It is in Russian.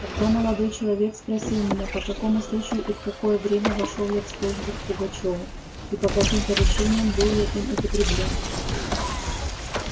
тогда молодой человек спросил меня по какому случаю и в какое время вошёл я в службу к пугачёву и по каким поручениям был я им употреблён